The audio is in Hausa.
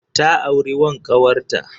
Ta auri wan ƙawarta.